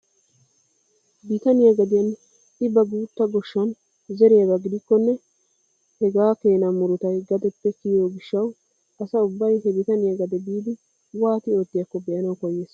Bitaniyaa gadiyaan i ba guutta goshshan zeriyaaba gidikkonne hegaa keena murutay gadeppe kiyiyoo giishshawu asa ubbay he bitaniyaa gade biidi waati oottiyaakko be'anawu koyyees!